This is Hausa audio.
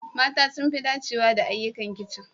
Mata sun fi dacewa da ayyukan kicin.